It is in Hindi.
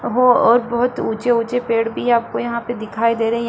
बहो और बहोत ऊँचे-ऊँचे पेड़ भी आपको यहाँ पे दिखाई दे रही हैं।